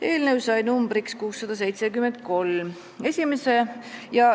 Eelnõu sai numbriks 673.